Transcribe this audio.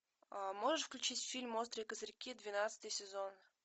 можешь включить фильм острые козырьки двенадцатый сезон